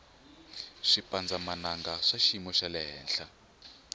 swipandza mananga swa swiyimu xalehenhla